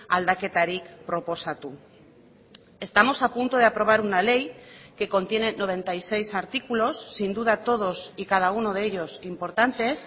aldaketarik proposatu estamos a punto de aprobar una ley que contiene noventa y seis artículos sin duda todos y cada uno de ellos importantes